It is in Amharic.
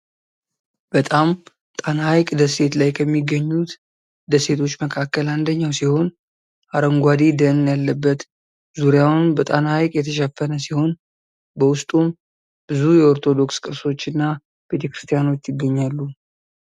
በጣም ጣና ሐይቅ ደሴት ላይ ከሚገኙት ደሴቶች መካከል አንደኛው ሲሆን አረንጓዴ ደን ያለበት ዙሪያውን በጣና ሐይቅ የተሸፈነ ሲሆን በውስጡም ብዙ የኦርቶዶክስ ቅርሶችና ቤተ ክርስቲያኖች ይገኛሉ።